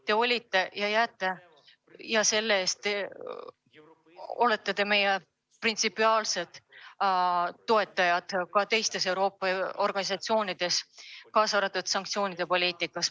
Te olete ja jääte meie printsipiaalseteks toetajateks ka Euroopa organisatsioonides ning sanktsioonipoliitikas.